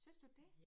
Synes du det?